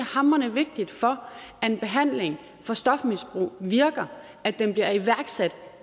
hamrende vigtigt for at en behandling for stofmisbrug virker at den bliver iværksat